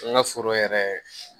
An ka foro yɛrɛ